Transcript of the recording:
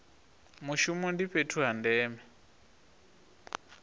mushumo ndi fhethu ha ndeme